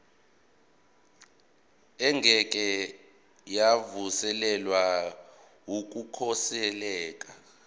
engeke yavuselelwa yokukhosela